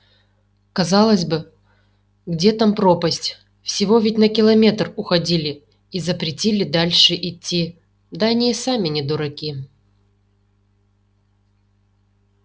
казалось бы где там пропасть всего ведь на километр уходили и запретили дальше идти да они и сами не дураки